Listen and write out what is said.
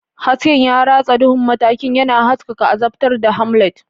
Hasken ya ratsa duhun matakin, yana haskaka azabtar da Hamlet.